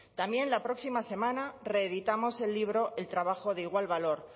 también la próxima semana reeditamos el libro el trabajo de igual valor